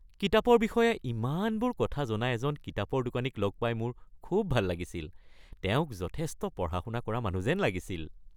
কিতাপৰ বিষয়ে ইমানবোৰ কথা জনা এজন কিতাপৰ দোকানীক লগ পাই মোৰ খুব ভাল লাগিছিল। তেওঁক যথেষ্ট পঢ়া-শুনা কৰা মানুহ যেন লাগিছিল।